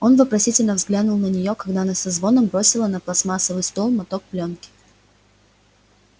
он вопросительно взглянул на нее когда она со звоном бросила на пластмассовый стол моток плёнки